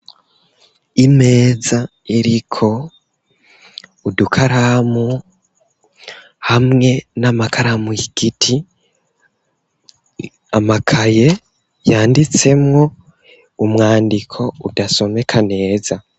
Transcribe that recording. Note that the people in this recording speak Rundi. Imeza iriko udukaramu hamwe n'amakaramu igiti amakaye yanditsemwo umwandiko udasomeka neza.